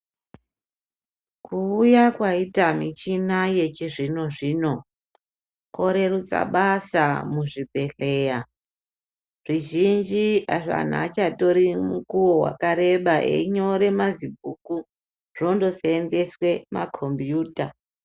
Kuuya kwaita michina yechizvino-zvino, kworerutsa basa muzvibhedhleya. Zvizhinji anhu aachatori mukuwo wakareba einyore mazibhuku , zvindoseenzeswe pakhombiyuta.